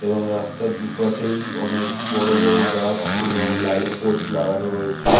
এবং রাস্তার দুপাশেই অনেক বড় বড় গাছ এবং লাইট পোস্ট লাগানো রয়েছে।